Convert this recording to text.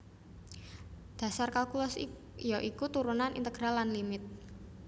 Dhasar kalkulus ya iku turunan integral lan limit